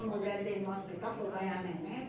A mulher dele no hospital foi ganhar neném.